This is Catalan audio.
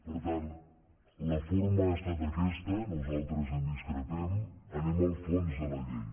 per tant la forma ha estat aquesta nosaltres en discrepem anem al fons de la llei